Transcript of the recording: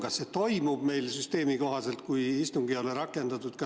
Kas see toimub meil süsteemi kohaselt, kui istungit ei ole rakendatud?